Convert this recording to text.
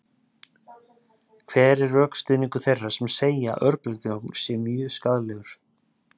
hver er rökstuðningur þeirra sem segja að örbylgjuofn sé mjög skaðlegur